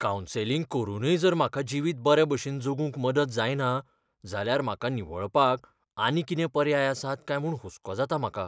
Counselling करूनय जर म्हाका जिवीत बरे भशेन जगूंक मदत जायना जाल्यार म्हाका निवळपाक आनी कितें पर्याय आसात काय म्हूण हुसको जाता म्हाका.